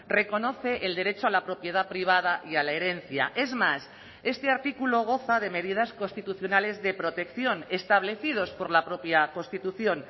reconoce el derecho a la propiedad privada y a la herencia es más este artículo goza de medidas constitucionales de protección establecidos por la propia constitución